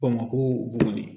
Bamakɔ de